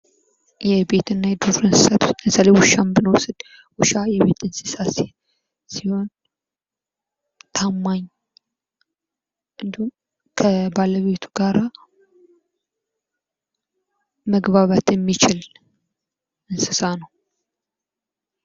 የቤትና የዱር እንስሳት ውስጥ ለምሳሌ ውሻን ብንወስድ ውሻ የቤት እንስሳ ሲሆን ታማኝ እንዲሁም ከባለቤቱ ጋር መግባባት የሚችል እንስሳ ነው ።